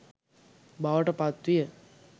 බවට පත් විය.